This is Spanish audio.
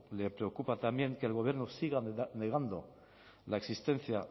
le preocupa también que el gobierno siga negando la existencia